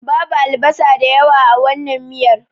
Babu albasa da yawa a wannan miyar.